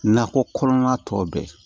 Nakɔ kɔnɔna tɔ bɛɛ